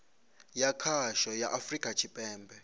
ya khasho ya afurika tshipembe